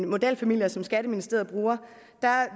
modelfamilier som skatteministeriet bruger